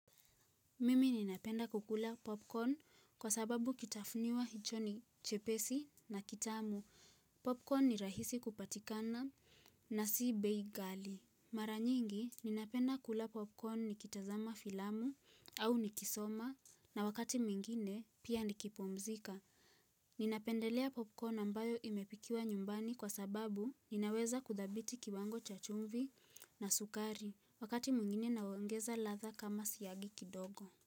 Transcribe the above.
Mimi ninapenda kukula popcorn kwa sababu kitafuniwa hicho ni chepesi na kitamu. Popcorn ni rahisi kupatikana na si bei kali. Mara nyingi ninapenda kula popcorn nikitazama filamu au nikisoma na wakati mwingine pia nikipumzika. Ninapendelea popcorn ambayo imepikiwa nyumbani kwa sababu ninaweza kuzabiti kiwango cha chumvi na sukari wakati mwingine naongeza ladha kama siyagi kidogo.